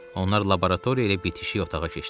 Onlar laboratoriya ilə bitişik otağa keçdilər.